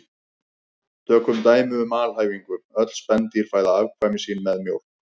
Tökum dæmi um alhæfingu: Öll spendýr fæða afkvæmi sín með mjólk